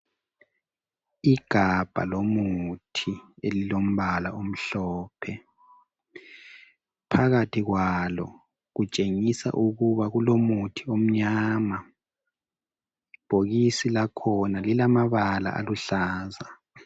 Igabha lomuthi elilombala omhlophe, phakathi kwalo kutshengisa ukuba kulomuthi omnyama. Ibhokisi lakhona lilamabala aluhlaza.